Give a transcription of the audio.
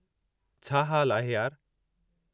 छा हाल आहे, यार?